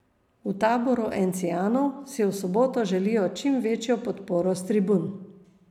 V taboru encijanov si v soboto želijo čim večjo podporo s tribun.